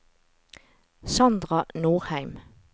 Sandra Nordheim